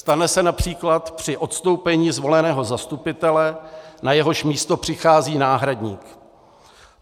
Stane se například při odstoupení zvoleného zastupitele, na jehož místo přichází náhradník.